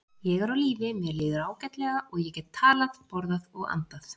Ég er á lífi, mér líður ágætlega, og ég get talað, borðað og andað